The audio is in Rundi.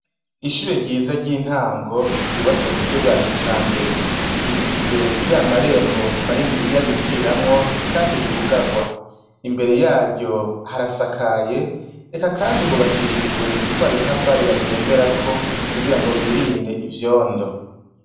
Ishure ryiza ry' intango ryubatswe ku buryo bwa kijambere. Rifise ya marembo maniniya binjiriramwo, kandi yugarwa. Imbere yaryo harasakaye, eka kandi hubakishijwe twa dutafari bagenderako, kugirango birinde ivyondo.